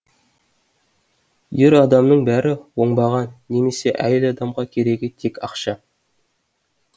ер адамның бәрі оңбаған немесе әйел адамға керегі тек ақша